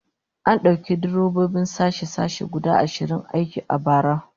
An dauki direbobin sashe-sashe guda ashirin aiki a bara